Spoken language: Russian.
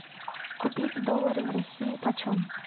купить доллары в россии почем